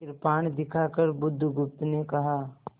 कृपाण दिखाकर बुधगुप्त ने कहा